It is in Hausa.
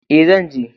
E, zan je.